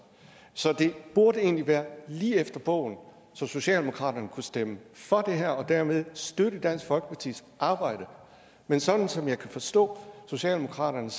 så det burde egentlig være lige efter bogen så socialdemokratiet kunne stemme for det her og dermed støtte dansk folkepartis arbejde men sådan som jeg kan forstå socialdemokratiet